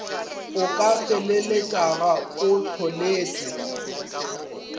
o ka feleletšago o hloletše